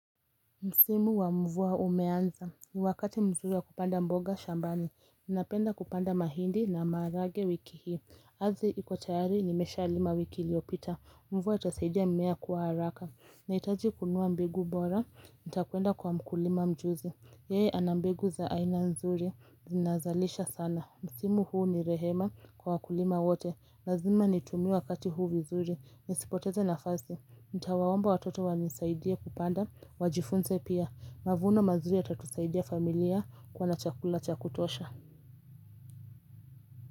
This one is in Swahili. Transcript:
Msimu wa mvua umeanza, ni wakati mzuri wa kupanda mboga shambani, ninapenda kupanda mahindi na maharage wiki hii Ardhi iko tayari nimesha lima wiki iliopita, mvua itasaidia mmea kuwa haraka Naitaji kununua mbegu bora, nitakuenda kwa mkulima mjuzi, yeye anambegu za aina nzuri, zinazalisha sana Msimu huu ni rehema kwa wakulima wote, lazima nitumie wakati huu vizuri, nisipoteze nafasi Nitawaomba watoto wanisaidie kupanda, wajifunze pia. Mavuno mazuri yatatusaidia familia kuwa na chakula cha kutosha.